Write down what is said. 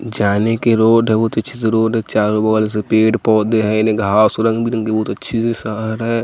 जाने के रोड है बहुत अच्छे से रोड है चारों बगल से पेड़ पौधे हैंने घास रंग बिरंगे बहुत अच्छे से सहर है।